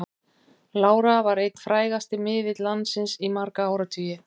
Lára var einn frægasti miðill landsins í marga áratugi.